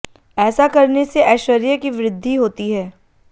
ऐसा करने से ऐश्वर्य की वृद्धि होती है